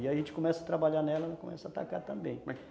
E aí a gente começa a trabalhar nela e começa a tacar também.